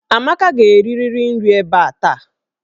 Amaka ga-erirịrị nri ebe a taa!